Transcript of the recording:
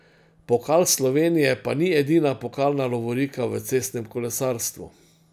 Pokal Slovenije pa ni edina pokalna lovorika v cestnem kolesarstvu.